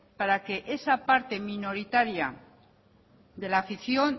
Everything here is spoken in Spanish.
para que esa parte minoritaria de la afición